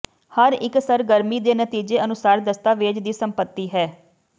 ਹਰ ਇੱਕ ਸਰਗਰਮੀ ਦੇ ਨਤੀਜੇ ਅਨੁਸਾਰ ਦਸਤਾਵੇਜ਼ ਦੀ ਸੰਪਤੀ ਹੈ